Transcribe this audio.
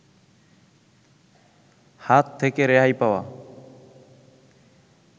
হাত থেকে রেহাই পাওয়া